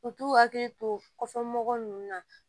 U t'u hakili to kɔsɔn mɔgɔw ninnu na